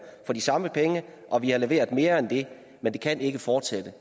for de samme penge og vi har leveret mere end det men det kan ikke fortsætte